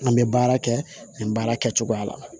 An bɛ baara kɛ nin baara kɛcogoya la